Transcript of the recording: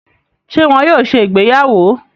Ṣe wón yóò ṣe ìgbéyàwó?